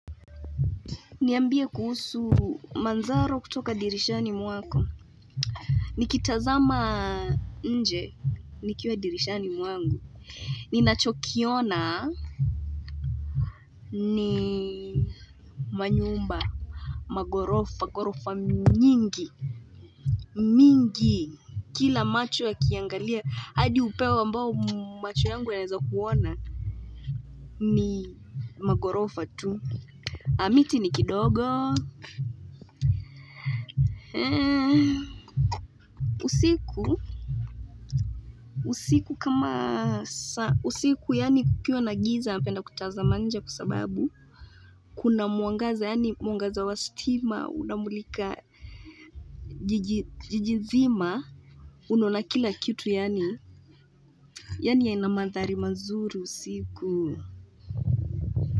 Niambie kuhusu manzaro kutoka dirishani mwako. Nikitazama nje. Nikiwa dirishani mwangu. Ninachokiona. Ni manyumba. Magorofa. Gorofa nyingi. Mingi. Kila macho ya kiangalia. Hadi upeo ambao macho yangu yanawekuona. Ni magorofa tu. Amiti ni kidogo. Usiku. Usiku kama usiku yaani kukiwa na giza napenda kutazama nje kusababu kuna muangaza yaani muangaza wa stima unamulika jijizima unona kila kitu yaani ya inamanthari mazuru usiku.